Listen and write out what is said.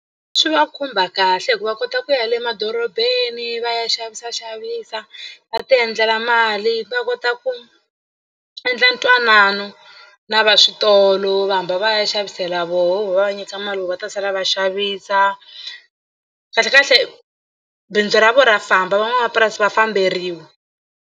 Swi va khumba kahle hi ku va kota ku ya le madorobeni va ya xavisaxavisa va tiendlela mali va kota ku endla ntwanano na va switolo va hamba va ya xavisela voho voho va va nyika mali va ta sala va xavisa kahlekahle bindzu ra vona ra famba van'wamapurasi va famberiwa.